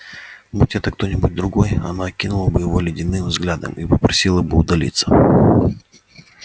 будь это кто-нибудь другой она окинула бы его ледяным взглядом и попросила бы удалиться